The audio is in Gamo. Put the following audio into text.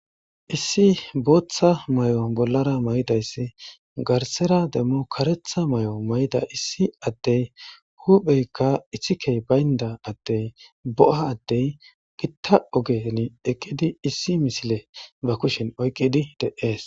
Issi bootha mayo bollara mayidayssi garssera qasse kereththa mayo mayidda issi adey huphpheykka iththikey bayndda ade bo'a adey giitta oggen eqqidi issi missile ba kushshen oyqqidi de'ess.